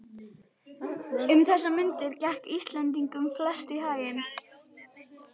Um þessar mundir gekk Íslendingunum flest í haginn.